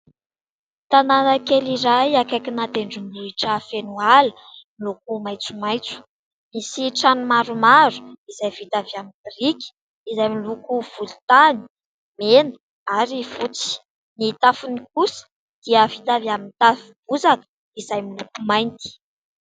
Tanàna kely iray akaikina tendrombohitra feno ala no maitsomaitso, misy trano maromaro izay vita avy amin'ny biriky izay miloko volontany, mena ary fotsy, ny tafony kosa dia vita avy amin'ny tafo bozaka izay miloko mainty.